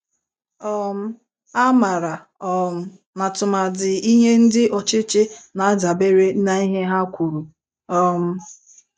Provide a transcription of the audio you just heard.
um A mara um na tụmadi ihe ndị ọchịchị na-adabere n'ihe ha kwuru. um